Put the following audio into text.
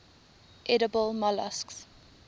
edible molluscs